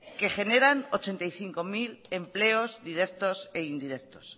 que generan ochenta y cinco mil empleos directos e indirectos